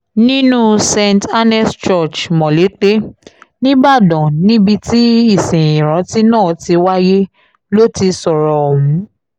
nínú st annes church molete nìbàdàn níbi tí ìsìn ìrántí náà ti wáyé ló ti sọ̀rọ̀ ọ̀hún